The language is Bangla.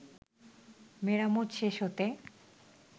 মেরামত শেষ হতে